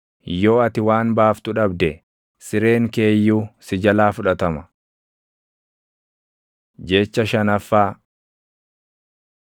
yoo ati waan baaftu dhabde, sireen kee iyyuu si jalaa fudhatama. Jecha shanaffaa